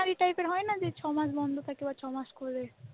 হয় না যে ছ মাস বন্ধ থাকল ছ মাস শুরু হল,